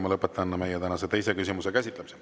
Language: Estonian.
Ma lõpetan tänase teise küsimuse käsitlemise.